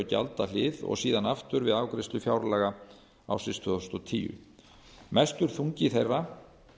gjaldahlið og síðan aftur við afgreiðslu fjárlaga tvö þúsund og tíu mestur þungi þeirra